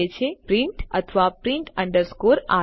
તે છે પ્રિન્ટ અથવા પ્રિન્ટ અંડરસ્કોર આર